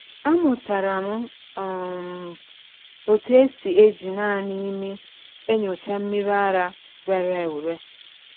Amụtara m um otú esi eji naanị imi enyocha mmiri ara rere ure.